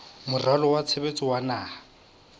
moralo wa tshebetso wa naha